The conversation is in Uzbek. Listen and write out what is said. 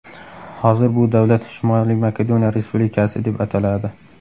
Hozir bu davlat Shimoliy Makedoniya Respublikasi deb ataladi.